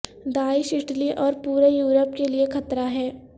داعش Italy اور پورے Europe کے لیے خطر ہ ہے